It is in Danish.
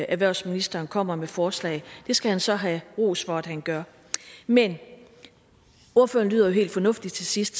erhvervsministeren kommer med forslag det skal han så have ros for at han gør men ordføreren lyder jo helt fornuftig til sidst